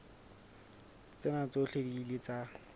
tsena tsohle di ile tsa